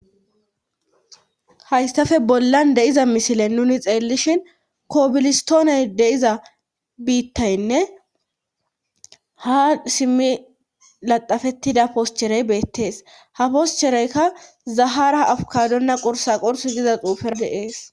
hayssafe bollan de7iza misile nuni xeelishin koobilistooney deiza biittaynne ha simmi laxafettida poscherey beettees ha poschereykka zahara afukadonna qursa qurs giza xuufer deees